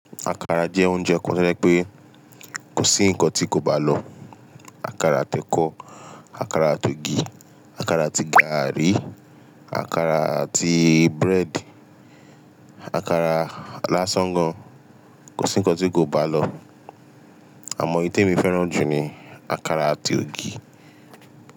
Akara jẹ́ oúnjẹ kan to je pé kò sí nǹkan tí kò bá lọ̀. Akara àti ekọ, akara àti ògì, akara àti gari, akara àti búrẹ́dì, akara lásán gan, kò sí nǹkan tí kò bá lọ̀. Àmọ́, èyí tí èmi fẹ́ràn jù ni akara àti ògì.